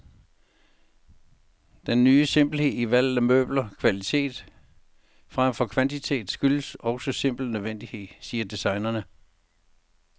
Den ny simpelhed i valget af møbler, kvalitet fremfor kvantitet, skyldes også simpel nødvendighed, siger designerne.